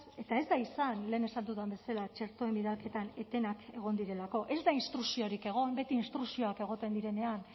eta ez da izan lehen esan dudan bezala txertoen bidalketan etenak egon direlako ez da instrukziorik egon beti instrukzioak egoten direnean